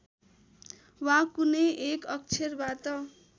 वा कुनै एक अक्षरबाट